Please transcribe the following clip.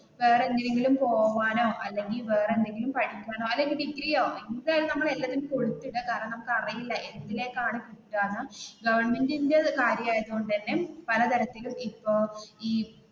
വേറെന്തിനെങ്കിലും പോവാനോ അല്ലെങ്കിൽ വേറെന്തിലും പഠിക്കാനോ അല്ലെങ്കിൽ ഡിഗ്രിയോ എന്തായാലും നമ്മൾ എല്ലാത്തിനും കൊടുത്തിടുക കാരണം നമുക്ക് അറിയില്ല എന്തിനെക്കാണു കിട്ടുക എന്ന് ഗവെർന്മെന്റിന്റെ കാര്യമായത് കൊണ്ട് തന്നെ പല തരത്തിലും ഇപ്പൊ ഈ